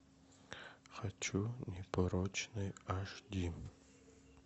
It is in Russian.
хочу непорочный аш ди